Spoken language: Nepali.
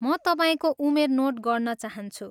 म तपाईँको उमेर नोट गर्न चाहन्छु।